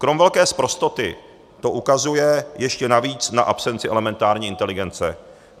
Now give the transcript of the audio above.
Krom velké sprostoty to ukazuje ještě navíc na absenci elementární inteligence.